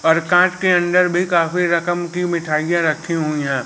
और कांच के अंदर भी काफी रकम की मिठाइयां रखी हुई है।